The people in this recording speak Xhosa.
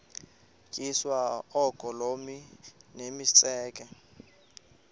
tyiswa oogolomi nemitseke